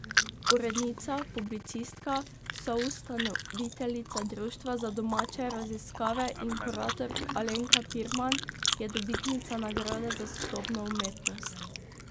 Urednica, publicistka, soustanoviteljica Društva za domače raziskave in kuratork Alenka Pirman je dobitnica nagrade za sodobno umetnost.